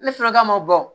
Ne sɔrɔla ka ma bɔ